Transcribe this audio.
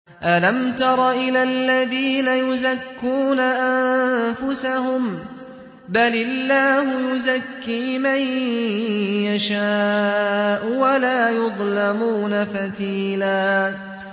أَلَمْ تَرَ إِلَى الَّذِينَ يُزَكُّونَ أَنفُسَهُم ۚ بَلِ اللَّهُ يُزَكِّي مَن يَشَاءُ وَلَا يُظْلَمُونَ فَتِيلًا